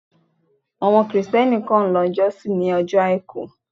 Àwọn Kristẹni kan ń lọ jọ́sìn ni ojo àìkú.